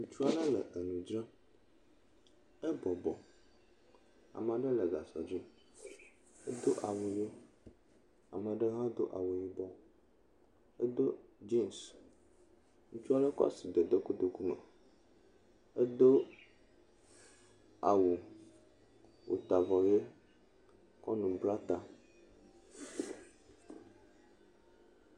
Ŋutsu aɖe le enu dzram ebɔbɔ, ame aɖe le gasɔ dzi, edo awu ʋe, ame ɖe hã do awu yibɔ edo jeans. Ŋutsu aɖe kɔ asi de kotoku me edo awu wota avɔ ʋe kɔ nu bla ta.